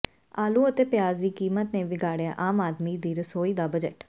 ਆਲੂ ਅਤੇ ਪਿਆਜ਼ ਦੀ ਕੀਮਤ ਨੇ ਵਿਗਾੜਿਆ ਆਮ ਆਦਮੀ ਦੀ ਰਸੋਈ ਦਾ ਬਜਟ